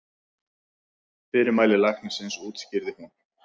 Fyrirmæli læknisins útskýrði hún.